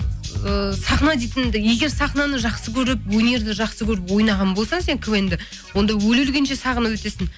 ы сахна дейтінді егер сахнаны жақсы көріп өнерді жақсы көріп ойнаған болсаң сен квн ді онда өле өлгенше сағынып өтесің